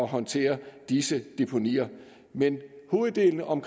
håndtere disse deponier men hoveddelen om